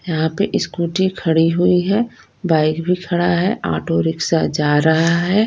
यहां पे स्कूटी खड़ी हुई है बाइक भी खड़ा है ऑटो रिक्शा जा रहा है।